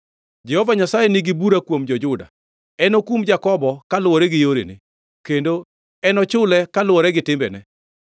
Jehova Nyasaye nigi bura kuom jo-Juda; enokum Jakobo kaluwore gi yorene; kendo enochule kaluwore gi timbene.